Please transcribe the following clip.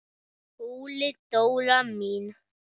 SKÚLI: Dóra mín!